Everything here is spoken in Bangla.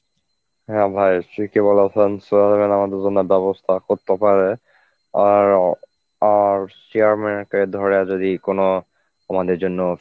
হ্যাঁ ভাই ঠিকই বলেছেন chairman আমাদের জন্য ব্যবস্থা করতে পারে আর আর chairman কে ধরাধরি কোন আমাদের জন্য